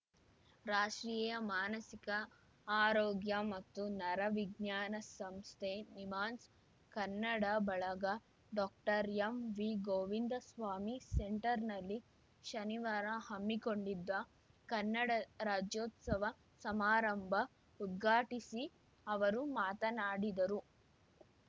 ರಾಷ್ಟ್ರೀಯ ಮಾನಸಿಕ ಆರೋಗ್ಯ ಮತ್ತು ನರವಿಜ್ಞಾನ ಸಂಸ್ಥೆನಿಮ್ಹಾನ್ಸ್‌ ಕನ್ನಡ ಬಳಗ ಡಾಕ್ಟರ್ಎಂವಿಗೋವಿಂದಸ್ವಾಮಿ ಸೆಂಟರ್‌ನಲ್ಲಿ ಶನಿವಾರ ಹಮ್ಮಿಕೊಂಡಿದ್ದ ಕನ್ನಡ ರಾಜ್ಯೋತ್ಸವ ಸಮಾರಂಭ ಉದ್ಘಾಟಿಸಿ ಅವರು ಮಾತನಾಡಿದರು